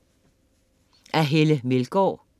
Af Helle Meldgaard